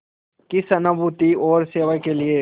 की सहानुभूति और सेवा के लिए